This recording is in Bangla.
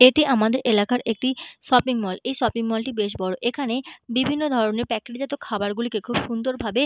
এটি আমাদের এলাকার একটি শপিং মল এই শপিং মলটি বিশাল বড়ো। এখানে বিভিন্ন ধরনের প্যাকেট জাত খাবার গুলিকে বেশ সুন্দর ভাবে--